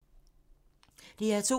DR2